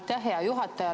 Aitäh, hea juhataja!